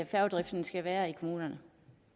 færgedriften skal være i kommunerne